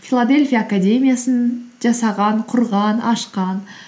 филадельфия академиясын жасаған құрған ашқан